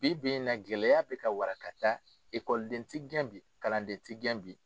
Bi bi in na gɛlɛya bɛ ka wara ka taa ekɔliden ti gɛn bi kalanden ti gɛn bi.